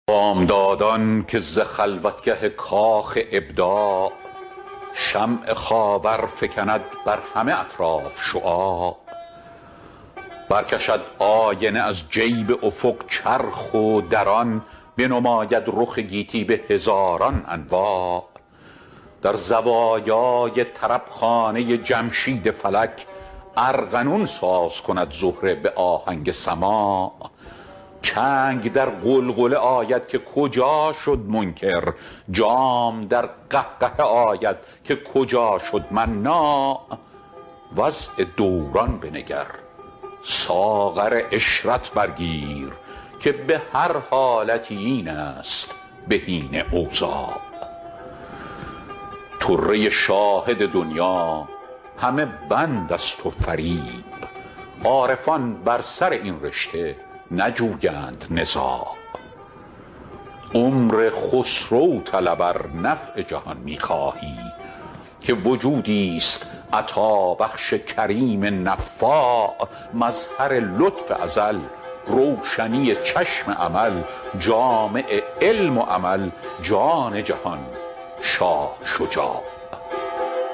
بامدادان که ز خلوتگه کاخ ابداع شمع خاور فکند بر همه اطراف شعاع برکشد آینه از جیب افق چرخ و در آن بنماید رخ گیتی به هزاران انواع در زوایای طربخانه جمشید فلک ارغنون ساز کند زهره به آهنگ سماع چنگ در غلغله آید که کجا شد منکر جام در قهقهه آید که کجا شد مناع وضع دوران بنگر ساغر عشرت بر گیر که به هر حالتی این است بهین اوضاع طره شاهد دنیی همه بند است و فریب عارفان بر سر این رشته نجویند نزاع عمر خسرو طلب ار نفع جهان می خواهی که وجودیست عطابخش کریم نفاع مظهر لطف ازل روشنی چشم امل جامع علم و عمل جان جهان شاه شجاع